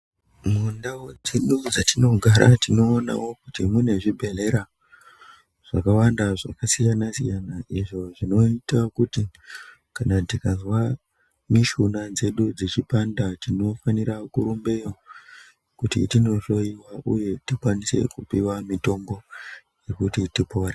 Mundau dzedu dzatinogara tinoonawo kuti mune zvibhedhlera zvakawanda zvakasiyana siyana izvo zvinoita kuti kana tikazwa mishuna dzedu dzechipanda tinofanira kurumbeyo kuti tinohloiwa uye tikwanise kupiwa mitombo yekuti tipore.